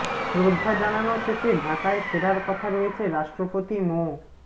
শ্রদ্ধা জানানো শেষে ঢাকায় ফেরার কথা রয়েছে রাষ্ট্রপতি মো